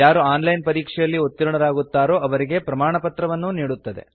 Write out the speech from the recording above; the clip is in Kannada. ಯಾರು ಆನ್ ಲೈನ್ ಪರೀಕ್ಷೆಯಲ್ಲಿ ಉತ್ತೀರ್ಣರಾಗುತ್ತಾರೋ ಅವರಿಗೆ ಪ್ರಮಾಣಪತ್ರವನ್ನೂ ನೀಡುತ್ತದೆ